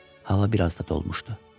Hava biraz da dolmuşdu.